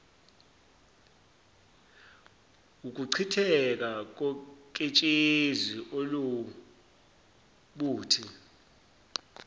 wukuchitheka koketshezi oluwubuthi